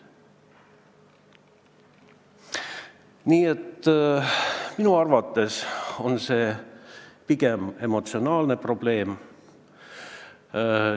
Nii et minu arvates on see pigem emotsionaalne probleem.